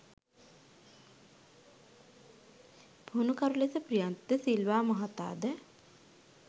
පුහුණුකරු ලෙස ප්‍රියන්ත ද සිල්වා මහතා ද